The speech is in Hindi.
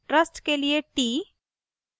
trust के लिए t